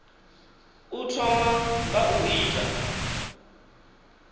u thoma nga u ita